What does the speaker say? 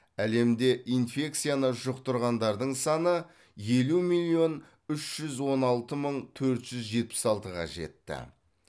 әлемде инфекцияны жұқтырғандардың саны елу миллион үш жүз он алты мың төрт жүз жетпіс алтыға жетті